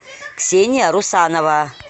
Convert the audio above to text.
ксения русанова